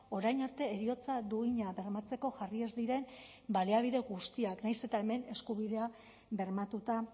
orain arte heriotza duina bermatzeko jarri ez diren baliabide guztiak nahiz eta hemen eskubidea bermatuta